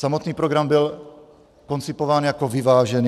Samotný program byl koncipován jako vyvážený.